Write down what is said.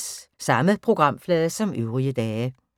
Samme programflade som øvrige dage